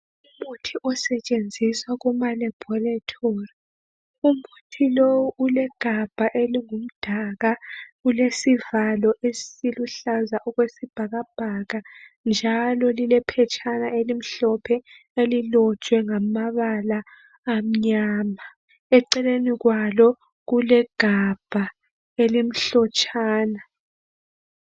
Umuthi osetshenziswa kumalaboratory. Umuthi lowu ulegabha elingumdaka, ulesivalo esiluhlaza okwesibhakabhaka njalo lilephetshana elimhlophe elilotshwe ngamabala amnyama, eceleni kwalo kulegabha elimhlotshana.